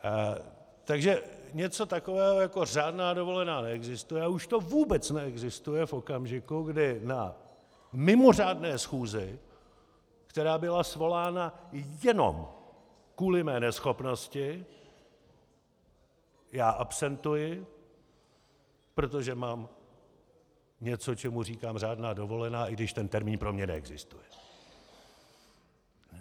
Takže něco takového jako řádná dovolená neexistuje, a už to vůbec neexistuje v okamžiku, kdy na mimořádné schůzi, která byla svolána jenom kvůli mé neschopnosti, já absentuji, protože mám něco, čemu říkám řádná dovolená, i když ten termín pro mě neexistuje.